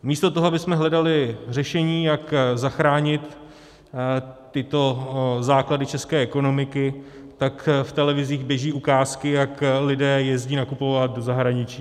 Místo toho, abychom hledali řešení, jak zachránit tyto základy české ekonomiky, tak v televizích běží ukázky, jak lidé jezdí nakupovat do zahraničí.